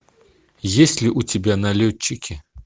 есть ли у тебя налетчики